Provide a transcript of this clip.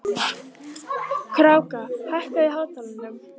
Kráka, hækkaðu í hátalaranum.